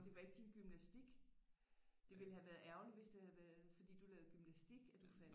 Det var ikke din gymnastik det ville havde været ærgerligt hvis det havde været fordi du lavede gymnastik at du faldt